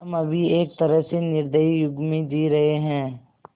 हम अभी एक तरह से निर्दयी युग में जी रहे हैं